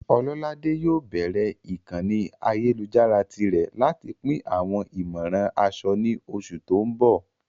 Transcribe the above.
Ololade yóò bẹ̀rẹ̀ ìkànnì ayélujára tirẹ̀ láti pín àwọn ìmọ̀ràn aṣọ ní oṣù tó ń bọ̀.